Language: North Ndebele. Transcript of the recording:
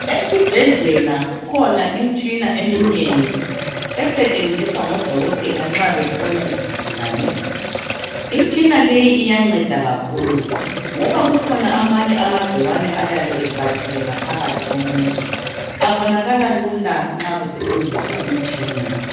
Esibhedlela kukhona imitshina eminengi esetshenziswa ngodokotela nxa behlola izigulane. Imitshina leyi iyanceda kakhulu ngiba kukhona amanye amagcikwane ayabe ecatshile ngaphakathi komuntu. Abonakala lula nxa kusetshenziswa imitshina.